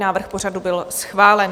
Návrh pořadu byl schválen.